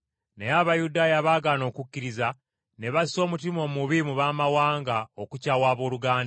Naye Abayudaaya abaagaana okukkiriza ne bassa omutima omubi mu baamawanga okukyawa abooluganda.